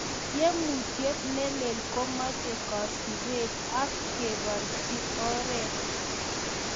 tiemutityet nelel , komache kesipeen ak keparchi oreet